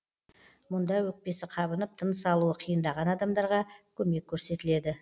мұнда өкпесі қабынып тыныс алуы қиындаған адамдарға көмек көрсетіледі